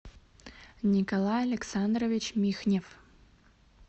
николай александрович михнев